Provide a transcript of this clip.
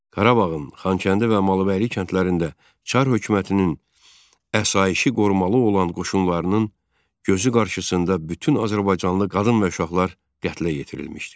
Qarabağın Xankəndi və Malıbəyli kəndlərində Çar hökumətinin əsayişi qorumalı olan qoşunlarının gözü qarşısında bütün azərbaycanlı qadın və uşaqlar qətlə yetirilmişdi.